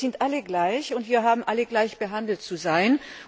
Wir sind alle gleich, und wir haben alle gleich behandelt zu sein.